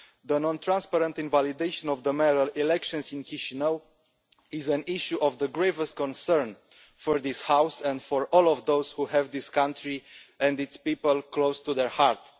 The non transparent invalidation of the mayoral elections in Chișinău is an issue of the gravest concern for this House and for all of those who have this country and its people close to their heart.